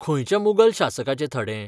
खंयच्या मुगल शासकाचें थडें?